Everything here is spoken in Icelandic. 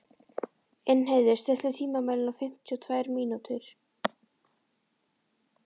Ingheiður, stilltu tímamælinn á fimmtíu og tvær mínútur.